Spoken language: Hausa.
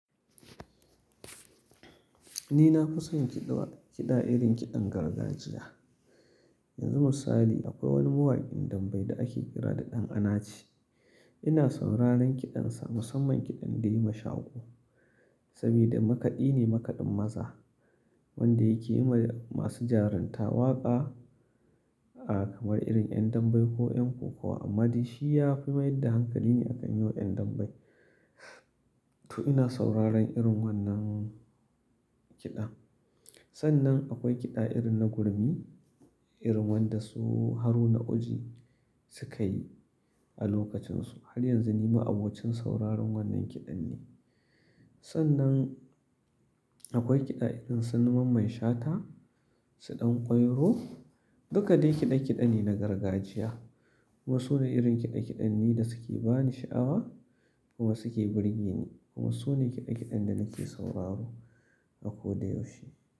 Ni na fi son kiɗa, kiɗa irin kiɗan gargajiya. Yanzu misali akwai wani mawaƙin damben da ake kira da Ɗan Anaci. Ina sauraron kiɗansa, musamman kiɗan da yayi ma Shako. Saboda makaɗi ne makaɗin maza wanda yake yi ma masu jarunta waƙa, kamar irin 'yan damben ko 'yan kokawa amma dai shi ya fi mayar da hankali ne a kan yau 'yan damben. To ina sauraron irin wannan kiɗa. Sannan akwai kiɗa irin na gurmi, irin wanda su Haruna Oji suka yi a lokacinsu. Har yanzu ni ma abocin sauraron wannan kiɗan ne. Sannan akwai kiɗa irin su na Mamman Shata, su Ɗanƙwairo, duka dai kiɗe-kiɗe ne na gargajiya. Kuma su ne irin kiɗe-kiɗen ne da suke bani sha'awa kuma suke burge ni. Kuma su ne kiɗe-kiɗan da nake sauraro a ko da yaushe.